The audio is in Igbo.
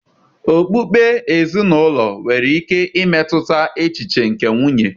Okpukpe ezinụlọ nwere ike imetụta echiche nke nwunye